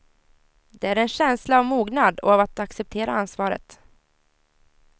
Det är en känsla av mognad och av att acceptera ansvaret.